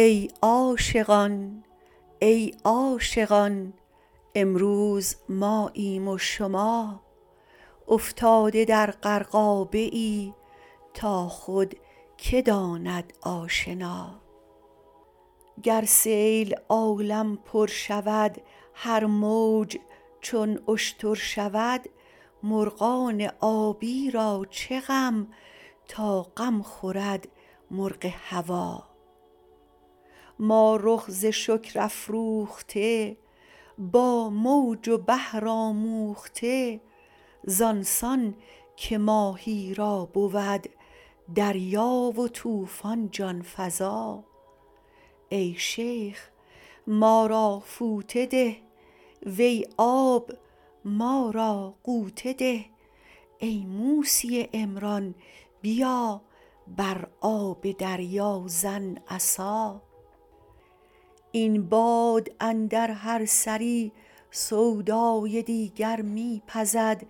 ای عاشقان ای عاشقان امروز ماییم و شما افتاده در غرقابه ای تا خود که داند آشنا گر سیل عالم پر شود هر موج چون اشتر شود مرغان آبی را چه غم تا غم خورد مرغ هوا ما رخ ز شکر افروخته با موج و بحر آموخته زان سان که ماهی را بود دریا و طوفان جان فزا ای شیخ ما را فوطه ده وی آب ما را غوطه ده ای موسی عمران بیا بر آب دریا زن عصا این باد اندر هر سری سودای دیگر می پزد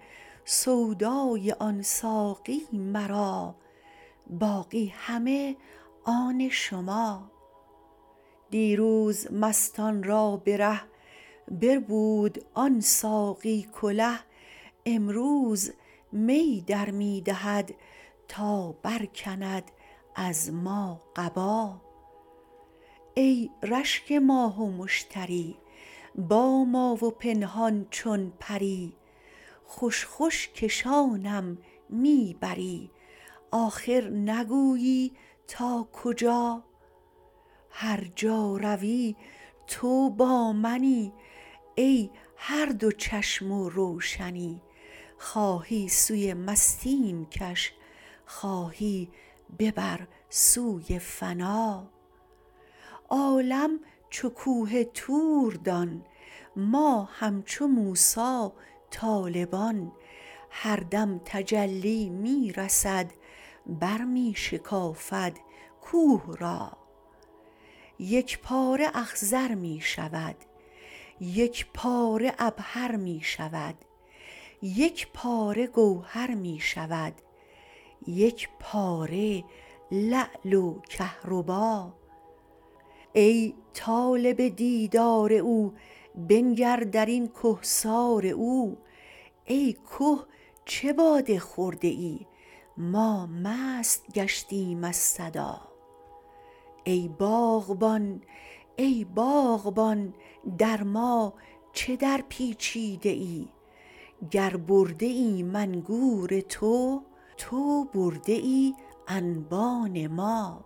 سودای آن ساقی مرا باقی همه آن شما دیروز مستان را به ره بربود آن ساقی کله امروز می در می دهد تا برکند از ما قبا ای رشک ماه و مشتری با ما و پنهان چون پری خوش خوش کشانم می بری آخر نگویی تا کجا هر جا روی تو با منی ای هر دو چشم و روشنی خواهی سوی مستیم کش خواهی ببر سوی فنا عالم چو کوه طور دان ما همچو موسی طالبان هر دم تجلی می رسد برمی شکافد کوه را یک پاره اخضر می شود یک پاره عبهر می شود یک پاره گوهر می شود یک پاره لعل و کهربا ای طالب دیدار او بنگر در این کهسار او ای که چه باده خورده ای ما مست گشتیم از صدا ای باغبان ای باغبان در ما چه درپیچیده ای گر برده ایم انگور تو تو برده ای انبان ما